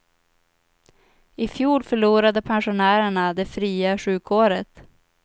I fjol förlorade pensionärerna det fria sjukåret.